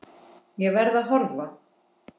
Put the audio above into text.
Ég verð að horfa.